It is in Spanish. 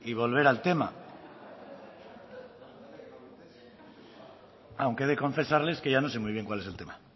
volver a tema aunque he de confesarles que ya no sé muy bien cuál es el tema